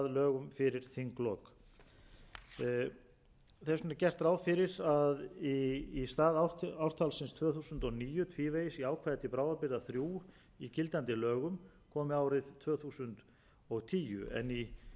lögum fyrir þinglok þess vegna er gert ráðfyrir að í stað ártalsins tvö þúsund og níu tvívegis í ákvæði til bráðabirgða þrjú í gildandi lögum komi árið tvö þúsund og tíu í